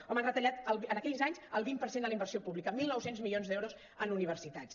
home han retallat en aquells anys el vint per cent de la inversió pública mil nou cents milions d’euros en univer·sitats